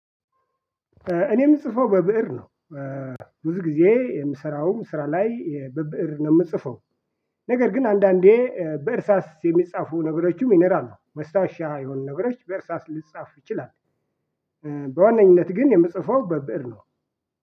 እኔ የምጽፈው በብእር ነው። ብዙ ጊዜ የምሰራውም ስራ ላይ በብእር ነው የምጽፈው። ነገር ግን አንዳንዴ በእርሳስ የሚጻፉ ነገሮችም ይኖራሉ ነው ማስታወሻ የሆኑ ነገሮች በእርሳስ ሊጻፍ ይችላል። በዋነኝነት ግን የምጽፈው በብእር ነው።